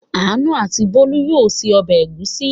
Àánú and Bólú yóò se ọbẹ̀ ẹ̀gúsí!